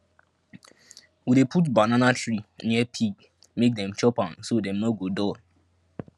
we dey put banana tree near pig make dem chop am so dem no go dull